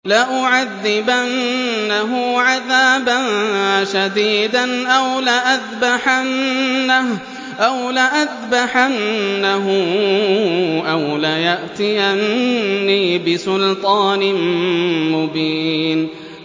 لَأُعَذِّبَنَّهُ عَذَابًا شَدِيدًا أَوْ لَأَذْبَحَنَّهُ أَوْ لَيَأْتِيَنِّي بِسُلْطَانٍ مُّبِينٍ